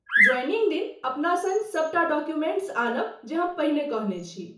Joining दिन अपना सङ्ग सबटा डॉक्युमेंट्स आनब जे हम पहिने कहने छी।